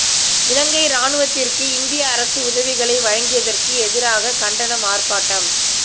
இலங்கை இராணுவத்திற்கு இந்திய அரசு உதவிகளை வழங்கியதற்கு எதிராக கண்டன ஆர்ப்பாட்டம்